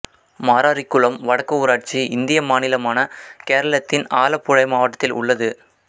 மாராரிக்குளம் வடக்கு ஊராட்சி இந்திய மாநிலமான கேரளத்தின் ஆலப்புழை மாவட்டத்தில் உள்ளது